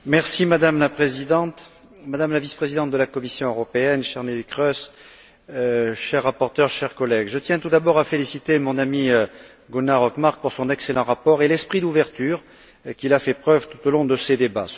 Madame la Présidente, Madame la Vice présidente de la Commission européenne, chère Neelie Kroes, cher rapporteur, chers collègues, je tiens tout d'abord à féliciter mon ami, Gunnar Hökmark, pour son excellent rapport et l'esprit d'ouverture dont il a fait preuve tout au long de ces débats.